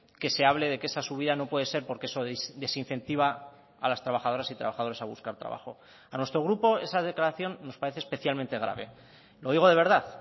que se hable de que esa subida no puede ser porque eso desincentiva a las trabajadoras y trabajadores a buscar trabajo a nuestro grupo esa declaración nos parece especialmente grave lo digo de verdad